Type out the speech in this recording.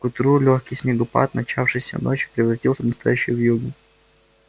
к утру лёгкий снегопад начавшийся ночью превратился в настоящую вьюгу